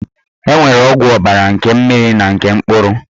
E nwere ọgwụ ọbara nke mkpụrụ na nke mmiri